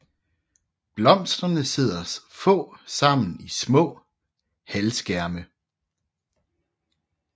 Blomsterne sidder få sammen i små halvskærme